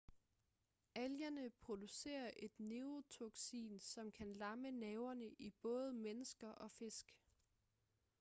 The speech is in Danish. algerne producerer et neurotoksin som kan lamme nerverne i både mennesker og fisk